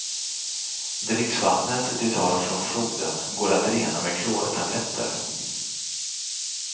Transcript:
Dricksvattnet de tar från floden går att rena med klortabletter.